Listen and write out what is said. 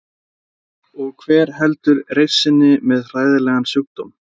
Og hver heldur reisn sinni með hræðilegan sjúkdóm?